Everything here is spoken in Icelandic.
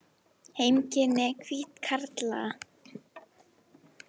Heimkynni hvíthákarla.